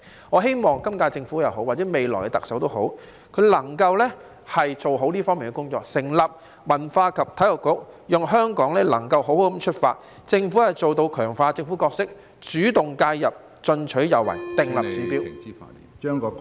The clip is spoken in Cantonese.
我希望今屆政府或未來的特首能夠做好這方面的工作，成立文化及體育局，讓香港能夠好好出發，政府做到強化政府角色，主動介入，進取有為，訂立指標......